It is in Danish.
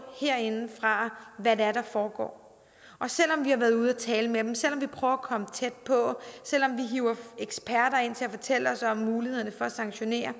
herindefra hvad det er der foregår og selv om vi har været ude og tale med dem selv om vi prøver at komme tæt på selv om vi hiver eksperter ind til at fortælle os om mulighederne for at sanktionere er